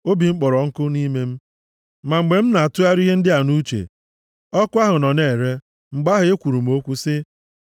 Obi m kporo ọkụ nʼime m, ma mgbe m na-atụgharị ihe ndị a nʼuche, ọkụ ahụ nọ na-ere; mgbe ahụ ekwuru m okwu sị: